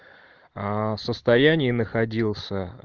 аа в состоянии находился